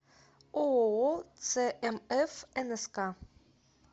ооо цмф нск